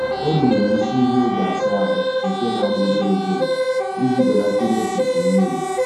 Ọ runyere isi ihe eji asa ahụ nke na-agba obere obere iji belata imefusi mmiri